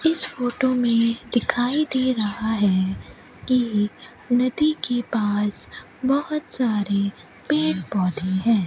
इस फोटो में दिखाई दे रहा है कि नदी के पास बहुत सारे पेड़ पौधे हैं।